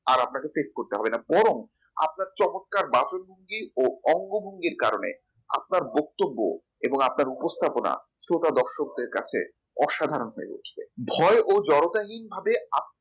আর আপনাকে face করতে হবে না বরং আপনার চমৎকার বাচনভঙ্গি ও অঙ্গভঙ্গির কারণে আপনার বক্তব্য এবং আপনার উপস্থাপনা সোতা দশকদের কাছে অসাধারণ হয়ে উঠবে ভয় ও জড়তাহীন ভাবে আপনি